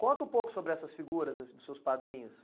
Conta um pouco sobre essas figuras dos seus padrinhos.